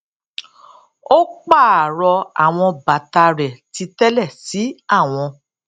ó pààrọ àwọn bàta rẹ titẹlẹ sí àwọn